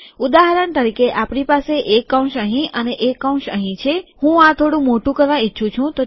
ઉદાહરણ તરીકે આપણી પાસે એક કૌંસ અહીં અને એક કૌંસ અહીં છે હું આ થોડું મોટું કરવા ઈચ્છું છું